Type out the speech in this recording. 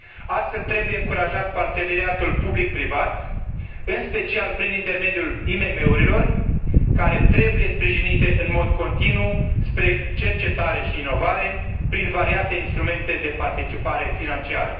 Astfel, trebuie încurajat parteneriatul public privat, în special prin intermediul IMM urilor, care trebuie sprijinite în mod continuu spre cercetare și inovare, prin variate instrumente de participare financiară.